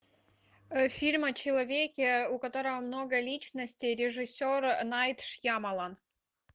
фильм о человеке у которого много личностей режиссер найт шьямалан